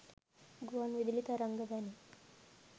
ගුවන් විදුලි තරංග වැනි